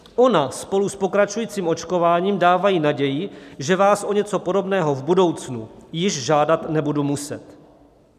Ona spolu s pokračujícím očkováním dávají naději, že vás o něco podobného v budoucnu již žádat nebudu muset.